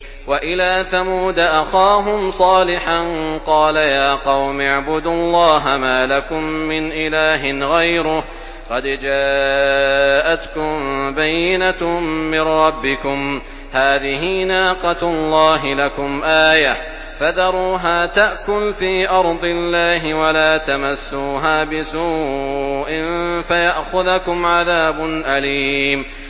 وَإِلَىٰ ثَمُودَ أَخَاهُمْ صَالِحًا ۗ قَالَ يَا قَوْمِ اعْبُدُوا اللَّهَ مَا لَكُم مِّنْ إِلَٰهٍ غَيْرُهُ ۖ قَدْ جَاءَتْكُم بَيِّنَةٌ مِّن رَّبِّكُمْ ۖ هَٰذِهِ نَاقَةُ اللَّهِ لَكُمْ آيَةً ۖ فَذَرُوهَا تَأْكُلْ فِي أَرْضِ اللَّهِ ۖ وَلَا تَمَسُّوهَا بِسُوءٍ فَيَأْخُذَكُمْ عَذَابٌ أَلِيمٌ